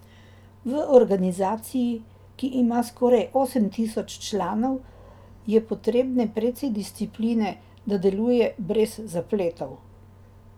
V organizaciji, ki ima skoraj osem tisoč članov, je potrebne precej discipline, da deluje brez zapletov.